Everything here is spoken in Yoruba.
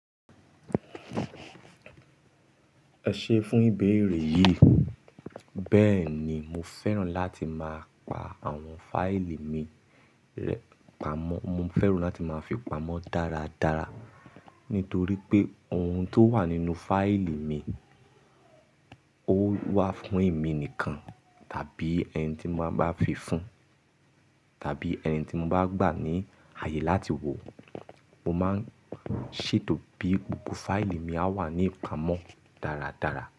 Ẹ ṣé fún ìbéèrè yìí. Bẹ́ẹ̀ ni, mo fẹ́ràn láti máa pa àwọn fáìlì mi rẹ pamọ́. Mo fẹ́ràn láti máa fi pamọ́ dáradára nítorí pé ohun tó wà nínú fáìlì mi ó wà fún èmi nìkan tàbí ẹni tí mo bá fi fún, tàbí ẹni tí mo bá gbà ní ààyè láti wò mo máa ṣètò bí gbogbo fáìlì mi á wà nípa mọ́ dáradára.